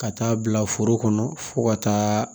Ka taa bila foro kɔnɔ fo ka taa